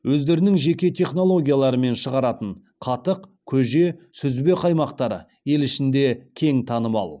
өздерінің жеке технологияларымен шығаратын қатық көже сүзбе қаймақтары ел ішінде кең танымал